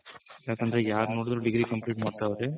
ಯಾಕಂದ್ರೆ ಯಾರ್ ನೋಡಿದ್ರು degree complete ಮಾಡ್ತಾವ್ರೆ